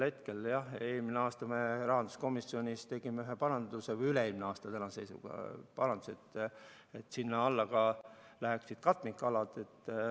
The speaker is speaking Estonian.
Aga jah, eelmine aasta me rahanduskomisjonis tegime ühe paranduse , et sinna alla läheksid ka katmikalad.